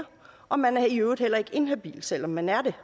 og man er i øvrigt heller ikke inhabil selv om man er det